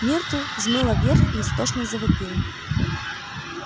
миртл взмыла вверх и истошно завопила